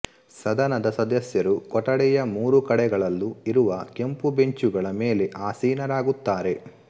ಸದನದ ಸದಸ್ಯರು ಕೊಠಡಿಯ ಮೂರು ಕಡೆಗಳಲ್ಲೂ ಇರುವ ಕೆಂಪು ಬೆಂಚುಗಳ ಮೇಲೆ ಆಸೀನರಾಗುತ್ತಾರೆ